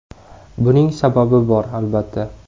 Buning sababi bor, albatta.